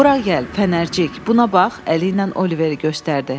Bura gəl, fənərcik, buna bax, əli ilə Oliveri göstərdi.